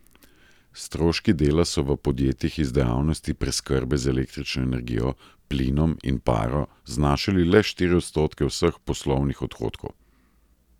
Stroški dela so v podjetjih iz dejavnosti preskrbe z električno energijo, plinom in paro znašali le štiri odstotke vseh poslovnih odhodkov.